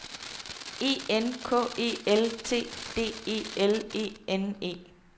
E N K E L T D E L E N E